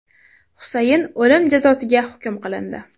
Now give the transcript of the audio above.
Husayn o‘lim jazosiga hukm qilindi.